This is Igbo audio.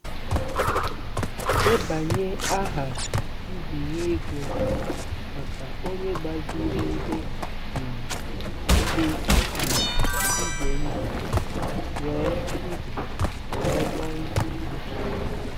Debanye aha mbinye ego maka onye gbaziri ihe um dị um ize ndụ wee ndụ wee kpọọ nsogbu.